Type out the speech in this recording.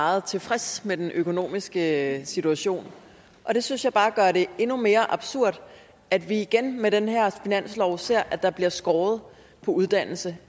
meget tilfreds med den økonomiske situation det synes jeg bare gør det endnu mere absurd at vi igen med den her finanslov ser at der bliver skåret på uddannelse